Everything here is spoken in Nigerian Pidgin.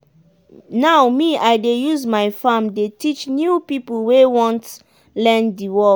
now me i dey use my farm dey teach new pipo wey want learn di work.